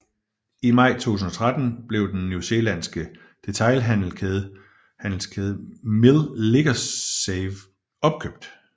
I maj 2013 blev den New Zealandske detailhandelskæde Mill Liquorsave opkøbt